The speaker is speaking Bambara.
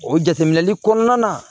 O jateminɛli kɔnɔna na